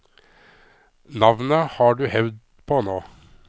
Navnet har du hevd på nå.